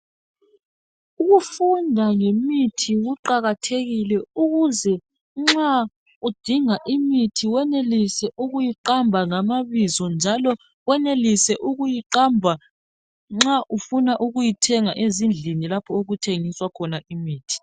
Ukufunda ngemithi kuqakathekile ukuze nxa udinga imithi wenelise ukuyiqamba ngamabizo. Njalo wenelise ukuyiqamba nxa ukuna ukuyithenga ezindlini lapho okuthengiswa khona imithi.